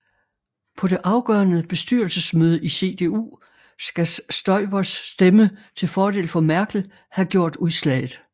På det afgørende bestyrelsemøde i CDU skal Stoibers stemme til fordel for Merkel have gjort udslaget